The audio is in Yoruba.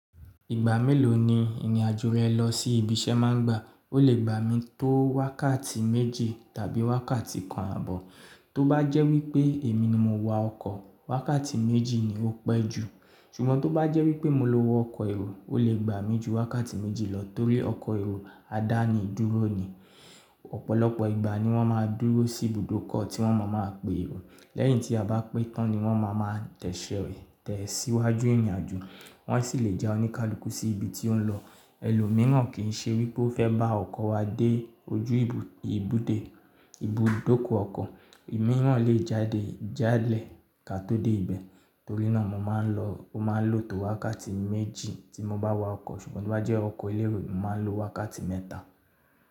Ìgbà mélòó ni ìrìnàjò rẹ lọ sí ibi iṣẹ́ máa ń gba? Ó lè gbà mí tó wákàtí méjì tàbí wákàtí kan ààbọ̀. Tó bá jẹ́ wípé èmi ni mo wa ọkọ̀, wákàtí méjì ni ó pẹ́ jù. Ṣùgbọ́n tó bá jẹ́ wípé mo lo ọkọ̀ èrò, ó lè gbà mí ju wákàtí méjì lọ torí ọkọ̀ èrò a dá ni dúró ni. Ọ̀pọ̀lọpọ̀ ìgbà ni wọ́n ma dúró sí ibùdókọ̀ tí wọ́n má máa pe èrò. Lẹ́yìn tí a bá pé tán ni wọ́n máa máa tẹ̀síwájú ìrìnàjò. Wọ́n sì lè já oníkálukú sí ibi tí ó ń lọ. Ẹlòmíràn kì í ṣe wípé ó fẹ́ bá ọkọ̀ wa dé ojú ibùde ibùdókọ̀ ọkọ̀. Òmíràn lè jáde jánlẹ̀ ka tó dé ibẹ̀. Torí náà mo máa ń lo tò wákàtí méjì tí mo bá wa ọkọ̀. Ṣùgbọ́n tó bá jẹ́ ọkọ̀ elérò, mo máa ń lo wákàtí mẹ́ta.